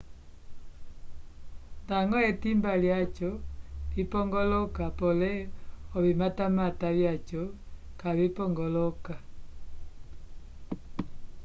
ndañgo etimba lyaco lipongoloka pole ovimatamata vyaco kavipongoloka